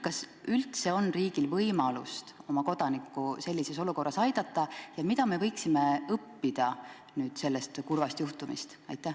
Kas üldse on riigil võimalust oma kodanikku sellises olukorras aidata ja mida me võiksime õppida sellest kurvast juhtumist?